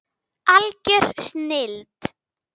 Algjör snilld.